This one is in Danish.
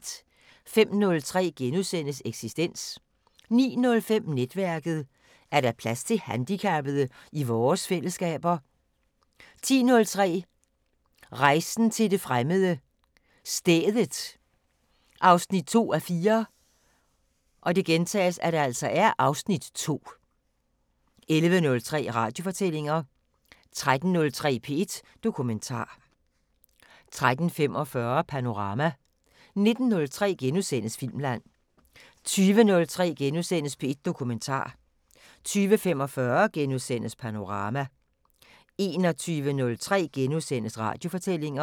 05:03: Eksistens * 09:05: Netværket: Er der plads til handicappede i vores fællesskaber 10:03: Rejsen til det fremmede: Stedet 2:4 (Afs. 2) 11:03: Radiofortællinger 13:03: P1 Dokumentar 13:45: Panorama 19:03: Filmland * 20:03: P1 Dokumentar * 20:45: Panorama * 21:03: Radiofortællinger *